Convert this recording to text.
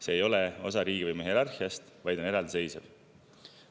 See ei ole osa riigivõimu hierarhiast, vaid on eraldiseisev.